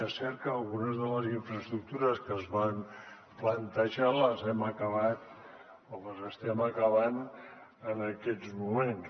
és cert que algunes de les infraestructures que es van plantejar les hem acabat o les estem acabant en aquests moments